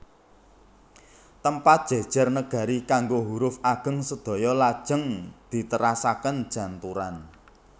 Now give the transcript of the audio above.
Tempat jejer negari kanggo huruf ageng sedaya lajeng diterasaken janturan